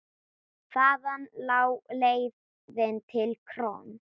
Þaðan lá leiðin til KRON.